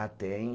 Ah, tem.